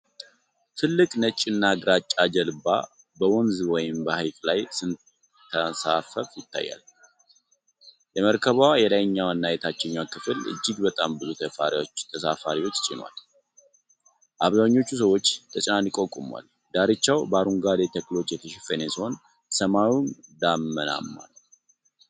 ትልቅ ነጭና ግራጫ ጀልባ በወንዝ ወይም በሐይቅ ላይ ስትንሳፈፍ ይታያል። የመርከቧ የላይኛውና የታችኛው ክፍል እጅግ በጣም ብዙ ተሳፋሪዎችን ጭናለች፤ አብዛኞቹ ሰዎች ተጨናንቀው ቆመዋል። ዳርቻው በአረንጓዴ ተክሎች የተሸፈነ ሲሆን፣ ሰማዩም ደመናማ ነው።